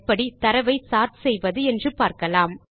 இல் எப்படி தரவை சோர்ட் செய்வது என்று பார்க்கலாம்